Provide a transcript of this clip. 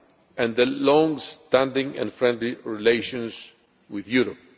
and its long standing and friendly relations with Europe.